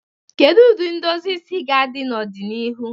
Kedu ụdị edozi isi ga-adị n'ọdịnihu?